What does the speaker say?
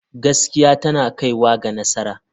Gaskiya tana kaiwa ga nasara.